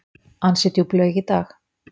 Ansi djúp laug í dag.